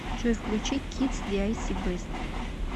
джой включи кидс диайси бест